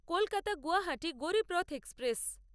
Kolkata Guwahati Garib Rath express